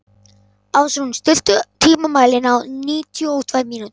Ásrún, stilltu tímamælinn á níutíu og tvær mínútur.